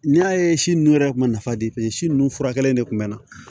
N'i y'a ye si nunnu yɛrɛ kun ma nafa de si nun furakɛla in de kun mɛ na